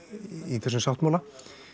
í þessum sáttmála